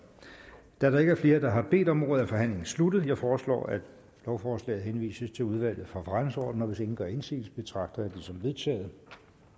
da der ikke er flere der har bedt om ordet er forhandlingen sluttet jeg foreslår at lovforslaget henvises til udvalget for forretningsordenen hvis ingen gør indsigelse betragter jeg det som vedtaget